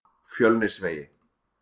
Fjölnisvegi